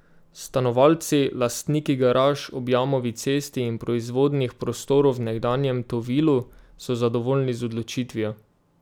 Stanovalci, lastniki garaž ob Jamovi cesti in proizvodnih prostorov v nekdanjem Tovilu so zadovoljni z odločitvijo.